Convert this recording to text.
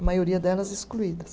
A maioria delas excluídas.